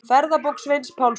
Ferðabók Sveins Pálssonar.